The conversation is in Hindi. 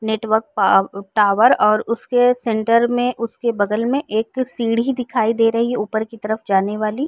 नेटवर्क पा अ टॉवर और उसके सेण्टर में उसके बगल में एक सीढ़ी दिखाई दे रही है ऊपर की तरफ जाने वाली।